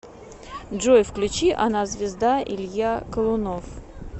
джой включи она звезда илья колунов